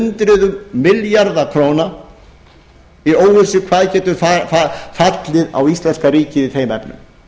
ekki hundruðum milljarða króna í óvissu hvað getur fallið á íslenska ríkið í þeim efnum